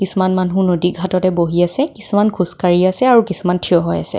কিছুমান মানুহ নদী ঘাটতে বহি আছে কিছুমান খোজ কাঢ়ি আছে আৰু কিছুমান থিয় হৈ আছে.